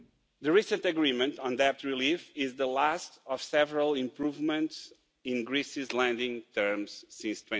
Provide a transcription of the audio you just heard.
The recent agreement on debt relief is the last of several improvements in Greece's lending terms since